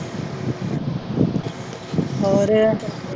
ਹੋਰ।